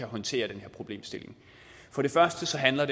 håndtere den her problemstilling den første handler